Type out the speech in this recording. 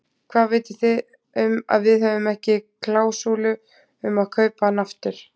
Hvað viti þið um að við höfum ekki klásúlu um að kaupa hann aftur?